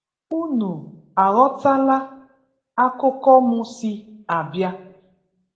unu aghọtala akụkụ mụ si abịa?